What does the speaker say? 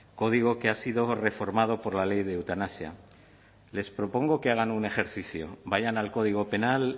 código que ha sido reformado por la ley de eutanasia les propongo que hagan un ejercicio vayan al código penal